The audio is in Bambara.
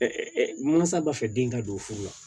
malosaa b'a fɛ den ka don furu la